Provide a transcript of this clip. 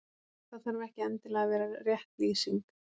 Það þarf ekki endilega að vera rétt lýsing.